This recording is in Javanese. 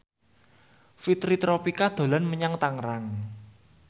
Fitri Tropika dolan menyang Tangerang